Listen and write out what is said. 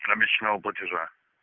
обещанного платежа